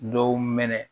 Dɔw mɛnɛ